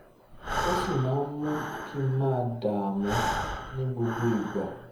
ó sì máa ń mú kí n máa dààmú ní gbogbo ìgbà